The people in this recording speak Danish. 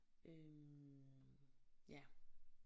Øh ja